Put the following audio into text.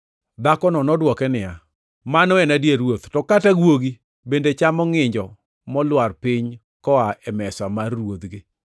Dhakono nodwoke niya, “Mano en adier Ruoth, to kata guogi bende chamo ngʼinjo molwar piny koa e mesa mar ruodhgi.”